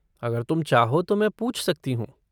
अगर तुम चाहो तो मैं पूछ सकती हूँ।